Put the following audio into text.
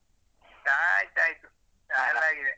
ಚಾ ಆಯ್ತು ಆಯ್ತು ಚಾ ಎಲ್ಲ ಆಗಿದೆ